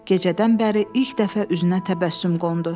Gecədən bəri ilk dəfə üzünə təbəssüm qondu.